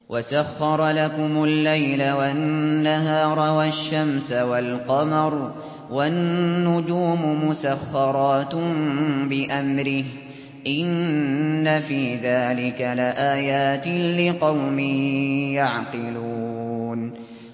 وَسَخَّرَ لَكُمُ اللَّيْلَ وَالنَّهَارَ وَالشَّمْسَ وَالْقَمَرَ ۖ وَالنُّجُومُ مُسَخَّرَاتٌ بِأَمْرِهِ ۗ إِنَّ فِي ذَٰلِكَ لَآيَاتٍ لِّقَوْمٍ يَعْقِلُونَ